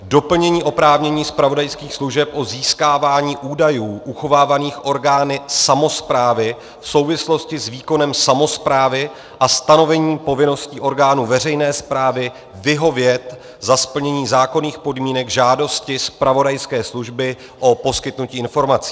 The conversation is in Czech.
Doplnění oprávnění zpravodajských služeb o získávání údajů uchovávaných orgány samosprávy v souvislosti s výkonem samosprávy a stanovení povinností orgánů veřejné správy vyhovět za splnění zákonných podmínek žádosti zpravodajské služby o poskytnutí informací.